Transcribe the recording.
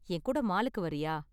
என் கூட மாலுக்கு வர்றியா?